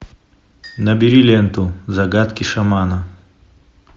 набери ленту загадки шамана